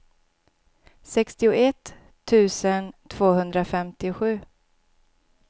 sextioett tusen tvåhundrafemtiosju